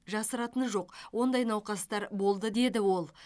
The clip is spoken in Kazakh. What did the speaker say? жасыратыны жоқ ондай науқастар болды деді ол